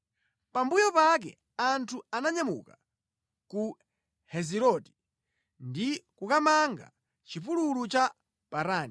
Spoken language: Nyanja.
Pambuyo pake anthu ananyamuka ku Heziroti ndi kukamanga mʼchipululu cha Parani.